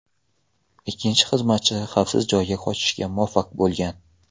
Ikkinchi xizmatchi xavfsiz joyga qochishga muvaffaq bo‘lgan.